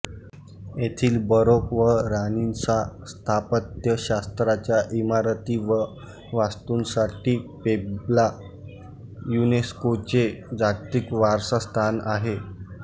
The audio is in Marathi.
येथील बरोक व रानिसां स्थापत्यशास्त्राच्या इमारती व वास्तूंसाठी पेब्ला युनेस्कोचे जागतिक वारसा स्थान आहे